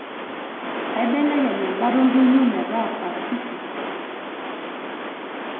eibelekeny' embata oldonyio metaa pasifik